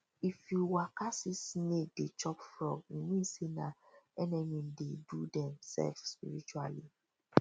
if you waka see snake dey chop frog e mean say nah enemy dey do dem sef spiritually